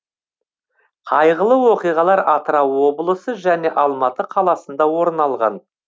қайғылы оқиғалар атырау облысы және алматы қаласында орын алған